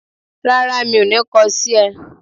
Rárá, mi ò ní kọ sí ẹ